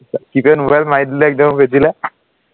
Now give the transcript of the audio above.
মাৰি দিলো একদম পিঠিলে